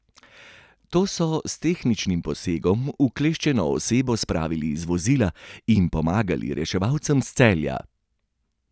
Ti so s tehničnim posegom ukleščeno osebo spravili iz vozila in pomagali reševalcem iz Celja.